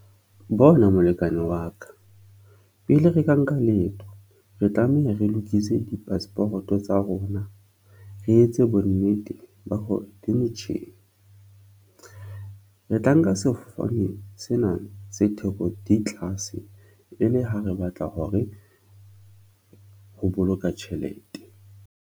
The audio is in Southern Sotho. Bona molekane wa ka pele re ka nka leeto, re tlameha re lokise di-passport-o tsa rona re etse bonnete ba hore di motjheng, re tla nka sefofane sena se theko di tlase e le ha re batla hore ho boloka tjhelete.